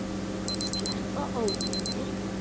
Sleppa ólinni.